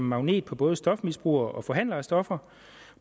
magnet på både stofmisbrugere og forhandlere af stoffer